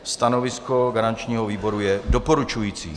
Stanovisko garančního výboru je doporučující.